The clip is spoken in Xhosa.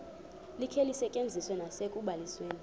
likhe lisetyenziswe nasekubalisweni